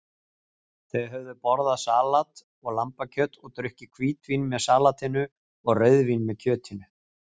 Þau höfðu borðað salat og lambakjöt og drukkið hvítvín með salatinu og rauðvín með kjötinu.